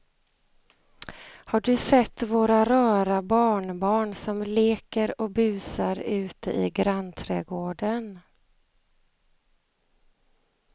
Har du sett våra rara barnbarn som leker och busar ute i grannträdgården!